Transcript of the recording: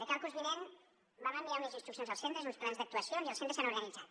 de cara al curs vinent vam enviar unes instruccions als centres uns plans d’actuacions i els centres s’han organitzat